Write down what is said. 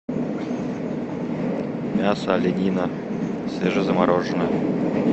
мясо оленина свежезамороженная